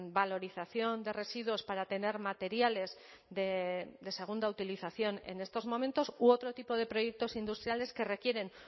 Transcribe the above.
valorización de residuos para tener materiales de segunda utilización en estos momentos u otro tipo de proyectos industriales que requieren